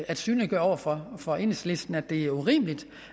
at synliggøre over for for enhedslisten at det er urimeligt